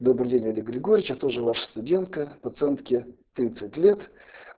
добрый день олег григорьевич я тоже ваша студентка пациентке тридцать лет